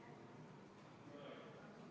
Ka see muudatus võeti vastu konsensuslikult.